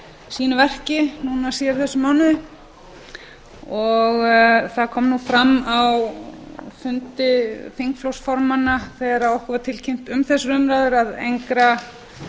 sínu verki síðar í þessum mánuði það kom fram á fundi þingflokksformanna þegar okkur var tilkynnt um þessar umræður að engra